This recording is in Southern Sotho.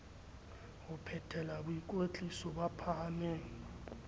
ho phethela boikwetliso ba thapameng